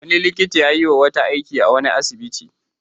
Wani likita ya yi wa wata aiki a wani asibiti.